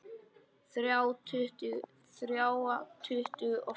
Þrjá tuttugu og fimm!